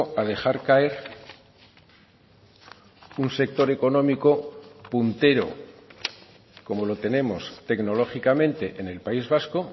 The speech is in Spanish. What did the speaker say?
a dejar caer un sector económico puntero como lo tenemos tecnológicamente en el país vasco